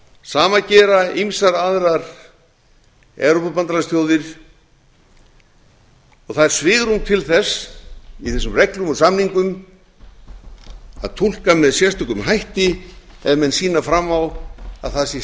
sama gera ýmsar aðrar evrópubandalagsþjóðir og það er svigrúm til þess í þessum reglum og samningum að túlka með sérstökum hætti ef menn sýna fram á að það sé